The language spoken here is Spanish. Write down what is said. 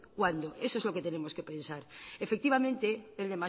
cuándo eso es lo que tenemos que pensar efectivamente